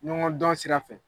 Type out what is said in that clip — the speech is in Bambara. Ɲɔgɔn dɔn sira fɛ.